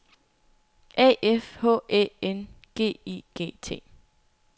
A F H Æ N G I G T